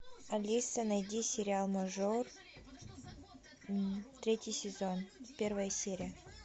алиса найди сериал мажор третий сезон первая серия